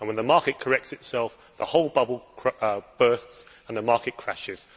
And when the market corrects itself the whole bubble bursts and the market crashes.